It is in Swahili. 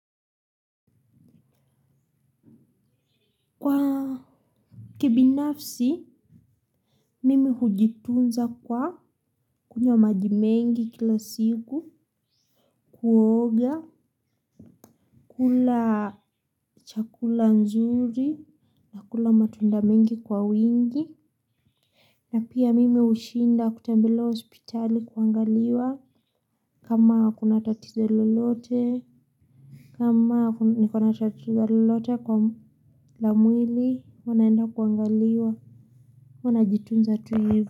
Kwa kibinafsi mimi hujitunza kwa kunywa majimengi kila siku kuoga kula chakula nzuri na kula matunda mengi kwa wingi. Na pia mimi hushinda kutembelea hospitali kuangaliwa kama kuna tatizo lolote kama niko na tatizo lolote kwa la mwili huwa naenda kuangaliwa huwa najitunza tu hivi.